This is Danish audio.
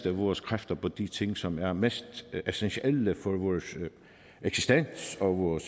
af vores kræfter på de ting som er mest essentielle for vores eksistens for vores